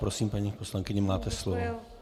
Prosím, paní poslankyně, máte slovo.